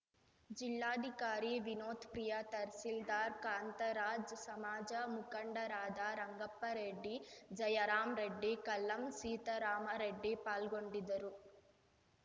ಜಿಲ್ಲಾಧಿಕಾರಿ ವಿನೋತ್‌ ಪ್ರಿಯಾ ತಹಸೀಲ್ದಾರ್‌ ಕಾಂತರಾಜ್‌ ಸಮಾಜ ಮುಖಂಡರಾದ ರಂಗಪ್ಪರೆಡ್ಡಿ ಜಯರಾಮರೆಡ್ಡಿ ಕಲ್ಲಂ ಸೀತಾರಾಮರೆಡ್ಡಿ ಪಾಲ್ಗೊಂಡಿದ್ದರು